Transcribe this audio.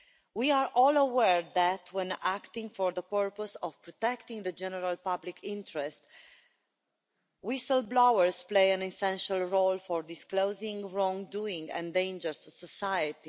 We are all aware that, when acting for the purpose of protecting the general public interest, whistle-blowers play an essential role by disclosing wrongdoing and dangers to society.